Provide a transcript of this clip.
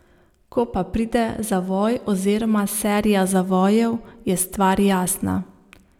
Ko pa pride zavoj oziroma serija zavojev, je stvar jasna.